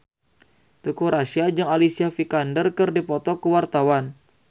Teuku Rassya jeung Alicia Vikander keur dipoto ku wartawan